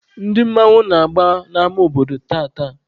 Ndị mmanwụ na-agba n'ama obodo tata.